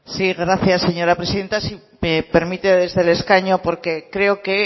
sí gracias señora presidenta si me permite desde el escaño porque creo que